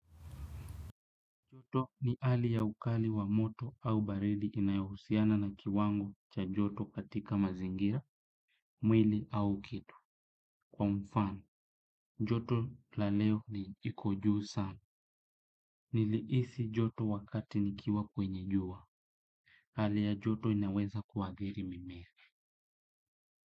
Joto ni hali ya ukali wa moto au barili inayohusiana na kiwango cha joto katika mazingira, mwili au kitu. Kwa mfano, joto la leo ni liko juu sana. Nilihisi joto wakati nikiwa kwenye jua. Hali ya joto inaweza kuathiri mimea.